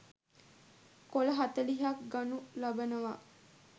කොළ 40 ක් ගනු ලබනවා.